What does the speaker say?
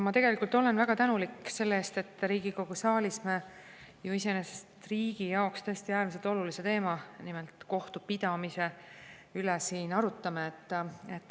Ma tegelikult olen väga tänulik selle eest, et me Riigikogu saalis iseenesest riigi jaoks tõesti äärmiselt olulise teema, nimelt kohtupidamise üle arutame.